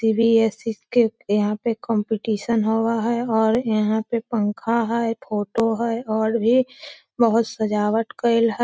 CBSE. यहाँ पे competition हो रहा है और यहां पे पंखा है फोटो है और भी बहुत सजावट केएल हैं।